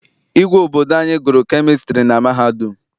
Igwe obodo anyị gụrụ kemịstri na mahadum.